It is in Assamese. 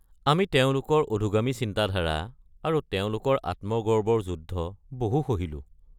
আমি তেওঁলোকৰ অধোগামী চিন্তাধাৰা আৰু তেওঁলোকৰ আত্মগৰ্বৰ যুদ্ধ বহু সহিলো।